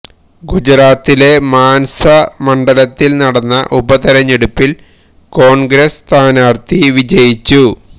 ഗുജറാത്തിലെ മാന്സ മണ്ഡലത്തില് നടന്ന ഉപതെരഞ്ഞെടുപ്പില് കോണ്ഗ്രസ് സ്ഥാനാര്ത്ഥി വിജയിച്ചു